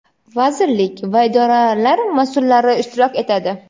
vazirlik va idoralar masʼullari ishtirok etadi.